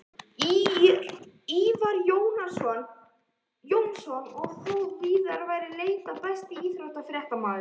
Ívar Jónsson og þó víðar væri leitað Besti íþróttafréttamaðurinn?